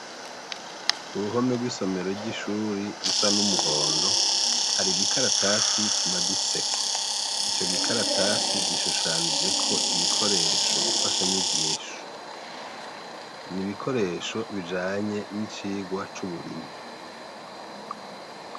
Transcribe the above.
Ku ruhome rw'isomero ry'ishuri rusa n'umuhondo hari igikaratasi kimaditseko ico gikaratasi gishushanijeko ibikoresho mfasha nyigisho ni ibikoresho bijanye n'icigwa c'uburimyi.